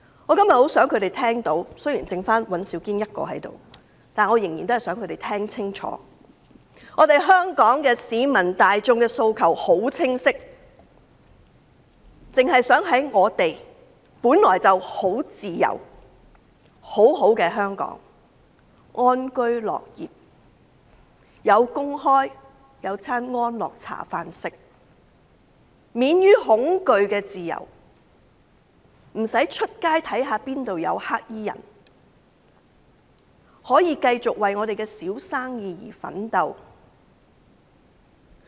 我今天很想他們聽清楚——雖然現在只剩下尹兆堅議員一人在席——香港市民大眾的訴求很清晰，我們只想在本來很自由、美好的香港安居樂業，能夠有工作、有安樂茶飯，以及有免於恐懼的自由，在街上不用擔心哪裏會有黑衣人，亦可以繼續為自己的小生意奮鬥。